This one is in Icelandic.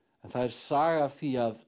það er saga af því að